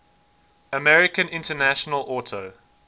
american international auto